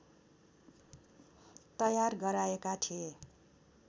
तयार गराएका थिए